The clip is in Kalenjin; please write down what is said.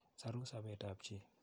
Soru sopet ap chi.